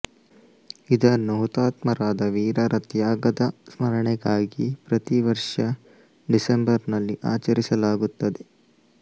ಇದನ್ನು ಹುತಾತ್ಮರಾದ ವೀರರ ತ್ಯಾಗದ ಸ್ಮರಣೆಗಾಗಿ ಪ್ರತಿವರ್ಷ ಡಿಸಂಬರನಲ್ಲಿ ಆಚರಿಸಲಾಗುತ್ತದೆ